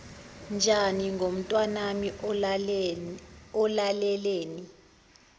njani ngomntanami ulaleleni